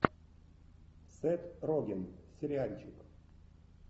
сет роген сериальчик